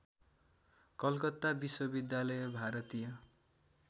कलकत्ता विश्वविद्यालय भारतीय